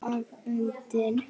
Ég er afundin.